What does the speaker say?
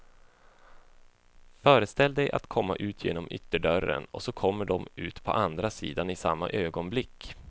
Föreställ dig att komma ut genom ytterdörren, och så kommer de ut på andra sidan i samma ögonblick.